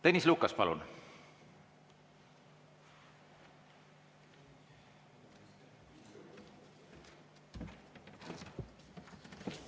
Tõnis Lukas, palun!